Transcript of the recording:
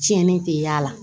Tiɲɛni tɛ y'a la